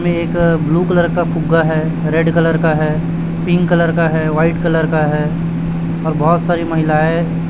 में एक अ ब्लू कलर का फुग्गा है रेड कलर का है पिंक कलर का है व्हाइट कलर का है और बहोत सारी महिलाएँ--